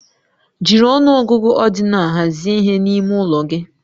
Jiri ọnụ ọgụgụ ordinal hazie ihe n'ime ụlọ gị